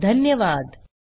सहभागासाठी धन्यवाद